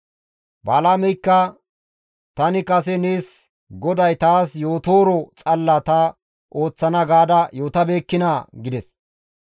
Balaameykka, «Tani kase nees GODAY taas yootooro xalla ta ooththana gaada yootabeekkinaa?» gides.